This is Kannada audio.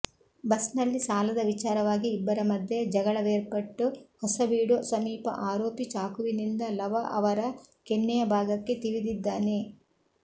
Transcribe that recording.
ಬಸ್ನಲ್ಲಿ ಸಾಲದ ವಿಚಾರವಾಗಿ ಇಬ್ಬರ ಮಧ್ಯೆ ಜಗಳವೇರ್ಪಟ್ಟು ಹೊಸಬೀಡು ಸಮೀಪ ಆರೋಪಿ ಚಾಕುವಿನಿಂದ ಲವ ಅವರ ಕೆನ್ನೆಯ ಭಾಗಕ್ಕೆ ತಿವಿದಿದ್ದಾನೆ